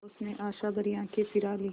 उसने आशाभरी आँखें फिरा लीं